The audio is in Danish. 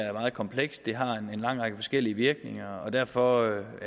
er meget komplekst det har en lang række forskellige virkninger og derfor